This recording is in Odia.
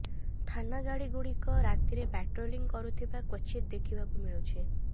ଥାନା ଗାଡ଼ିଗୁଡ଼ିକ ରାତିରେ ପାଟ୍ରୋଲିଂ କରୁଥିବା କ୍ବଚିତ ଦେଖିବାକୁ ମିଳୁଛି